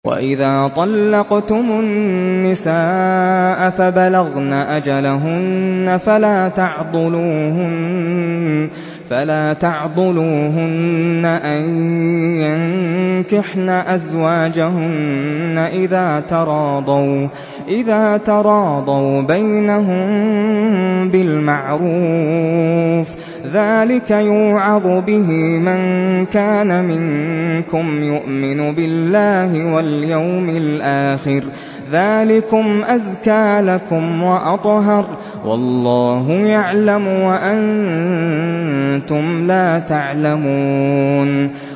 وَإِذَا طَلَّقْتُمُ النِّسَاءَ فَبَلَغْنَ أَجَلَهُنَّ فَلَا تَعْضُلُوهُنَّ أَن يَنكِحْنَ أَزْوَاجَهُنَّ إِذَا تَرَاضَوْا بَيْنَهُم بِالْمَعْرُوفِ ۗ ذَٰلِكَ يُوعَظُ بِهِ مَن كَانَ مِنكُمْ يُؤْمِنُ بِاللَّهِ وَالْيَوْمِ الْآخِرِ ۗ ذَٰلِكُمْ أَزْكَىٰ لَكُمْ وَأَطْهَرُ ۗ وَاللَّهُ يَعْلَمُ وَأَنتُمْ لَا تَعْلَمُونَ